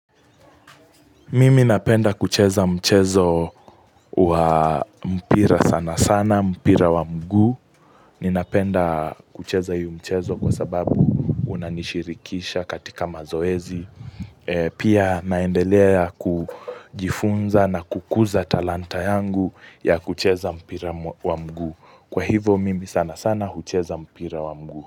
Mimi napenda kucheza mchezo wa mpira sana sana, mpira wa mguu. Ninapenda kucheza hiyo mchezo kwa sababu unanishirikisha katika mazoezi. Pia naendelea kujifunza na kukuza talanta yangu ya kucheza mpira wa mguu. Kwa hivo mimi sana sana hucheza mpira wa mguu.